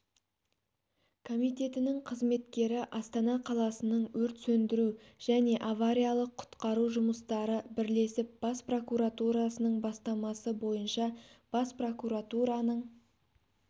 комитетінің қызметкері астана қаласының өрт сөндіру және авариялық-құтқару жұмыстары бірлесіп бас прокуратурасының бастамасы бойынша бас прокуратураның